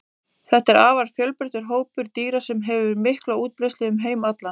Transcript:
Þetta er afar fjölbreyttur hópur dýra sem hefur mikla útbreiðslu um heim allan.